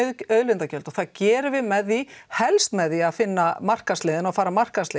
auðlindagjöld og það gerum við með því helst með því að finna markaðsleiðina og fara markaðsleiðina